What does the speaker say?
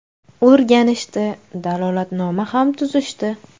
O‘rganishdi, dalolatnoma ham tuzishdi.